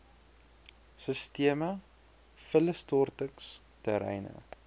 sisteme vullisstortings terreine